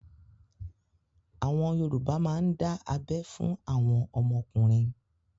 Àwọn Yorùbá má ń dá abẹ́ fún àwọn ọmọkùnrin.